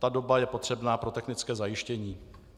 Ta doba je potřebná pro technické zajištění.